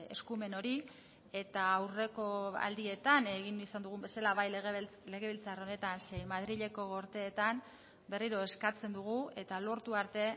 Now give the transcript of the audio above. eskumen hori eta aurreko aldietan egin izan dugun bezala bai legebiltzar honetan zein madrileko gorteetan berriro eskatzen dugu eta lortu arte